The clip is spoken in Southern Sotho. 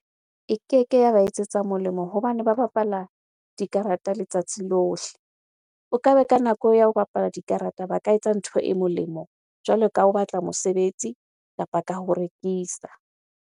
E keke ya ba etsetsa molemo hobane ba bapala dikarata letsatsi lohle. O ka ba ka nako ya ho bapala dikarata, ba ka etsa ntho e molemo jwalo ka ho batla mosebetsi kapa ka ho rekisa.